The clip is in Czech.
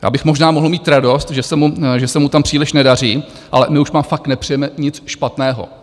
Já bych možná mohl mít radost, že se mu tam příliš nedaří, ale my už vám fakt nepřejeme nic špatného.